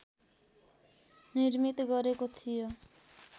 निर्मित गरेको थियो